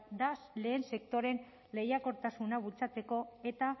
da lehen sektorearen lehiakortasuna bultzatzeko eta